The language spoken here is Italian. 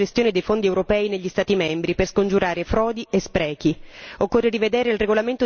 Occorre controllare la corretta gestione di fondi europei negli Stati membri per scongiurare frodi e sprechi.